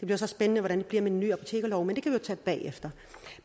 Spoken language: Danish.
det spændende hvordan det bliver med den nye apotekerlov men det kan vi jo tage bagefter